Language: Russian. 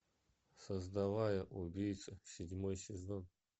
создавая убийцу седьмой сезон